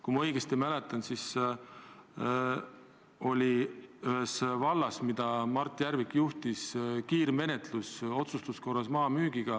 Kui ma õigesti mäletan, siis toimus ühes vallas, mida Mart Järvik juhtis, maa müügi puhul kiirmenetlus otsustuskorras.